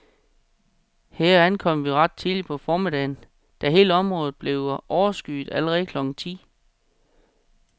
Her ankom vi ret tidligt på formiddagen, da hele området bliver overskyet allerede klokken ti.